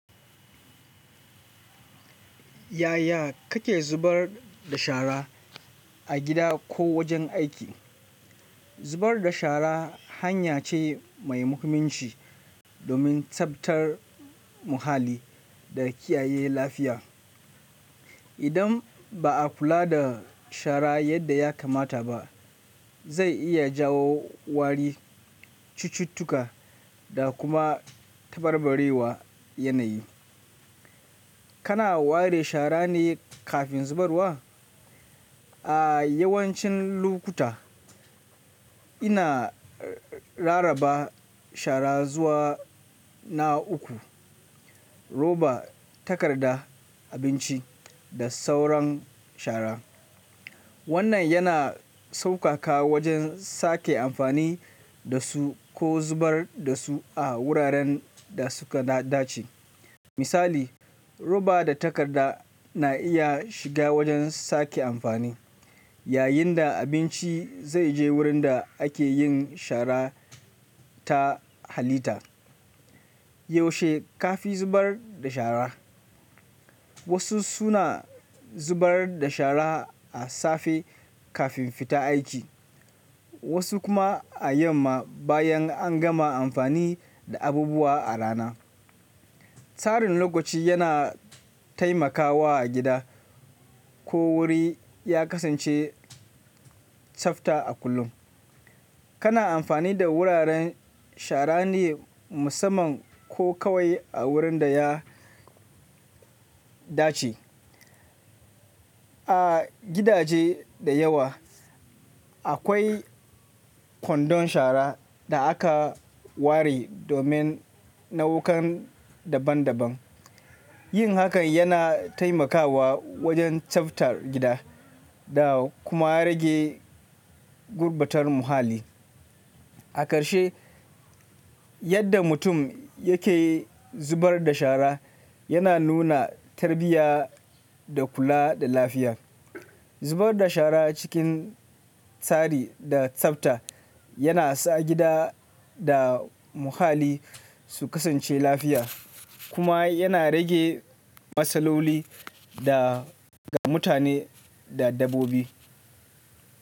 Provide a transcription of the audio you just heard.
Yaya kake zubar da shara a gida ko wajen aiki? Zubar da shara hanya ce mai muhimmanci domin tsaftar muhalli da kiyaye lafiya. Idan ba a kula da shara yadda ya kamata ba, zai iya jawo wari, cututtuka da kuma tabarbarewar yanayi. Kana ware shara ne kafin zubarwa? A yawancin lokuta, ina rarraba shara zuwa na uku: roba, takarda, abinci da sauran shara. Wannan yana saukaka wajen sake amfani da su ko zubar da su a wuraren da suka dace. Misali, roba da takarda na iya shiga wajen sake amfani, yayin da abinci zai je wurin da ake yin shara ta halitta. Yaushe ka fi zubar da shara? Wasu suna zubar da shara a safe kafin fita aiki, wasu kuma a yamma bayan an gama amfani da abubuwa a rana. Tsarin lokaci yana taimakawa a gida ko wuri ya kasance tsafta a kullum. Kana amfani da wuraren shara ne musamman ko kawai a wurin da ya dace? A gidaje da yawa, akwai kwandon shara da aka ware domin nau'ikan daban-daban. Yin hakan yana taimakawa wajen tsaftar gida da kuma rage gurbatar muhalli. A ƙarshe, yadda mutum yake zubar da shara yana nuna tarbiyya da kula da lafiya. Zubar da shara cikin tsari da tsafta yana sa gida da muhalli su kasance lafiya kuma yana rage matsaloli ga mutane da dabbobi.